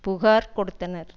புகார் கொடுத்தனர்